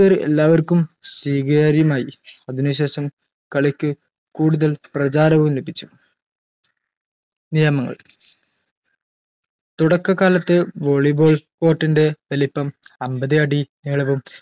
പേര് എല്ലാവർക്കും സ്വീകാര്യമായി അതിന് ശേഷം കളിക്ക് കൂടുതൽ പ്രചാരവും ലഭിച്ചു നിയമങ്ങൾ തുടക്കകാലത്ത് volley ball court ൻറെ വലിപ്പം അമ്പത് അടി നീളവും